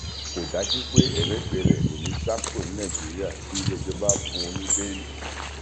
kò dájú pé emefèlete ò níín sá kúrò ní nàìjíríà tí ilé ẹjọ bá fún un ní bẹẹlì